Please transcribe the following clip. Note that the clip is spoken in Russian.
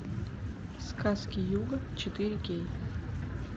сказки юга четыре кей